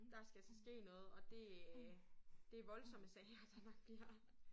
Der skal altså ske noget og det øh det voldsomme sager der nok bliver